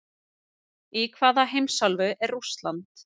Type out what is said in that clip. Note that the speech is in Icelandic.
Í hvaða heimsálfu er Rússland?